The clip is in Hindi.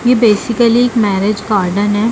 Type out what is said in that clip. ये बेसिकल एक मैरेज गार्डन है।